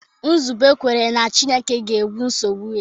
Nzube kwere na Chineke ga-egbo nsogbu ya.